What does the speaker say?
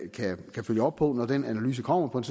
kan følge op på når den analyse kommer på en